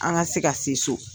An ka se ka se so.